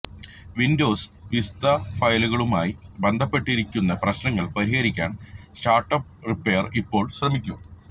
Windows Vista ഫയലുകളുമായി ബന്ധപ്പെടുത്തിയിരിക്കുന്ന പ്രശ്നങ്ങൾ പരിഹരിക്കാൻ സ്റ്റാർട്ടപ്പ് റിപ്പയർ ഇപ്പോൾ ശ്രമിക്കും